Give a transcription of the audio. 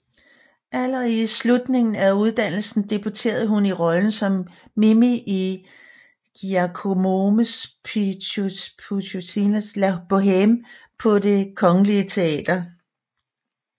Allerede i slutningen af uddannelsen debuterede hun i rollen som Mimi i Giacomo Puccinis La Bohème på Det Kongelige Teater